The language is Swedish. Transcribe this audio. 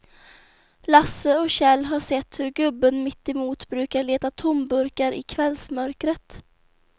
Lasse och Kjell har sett hur gubben mittemot brukar leta tomburkar i kvällsmörkret.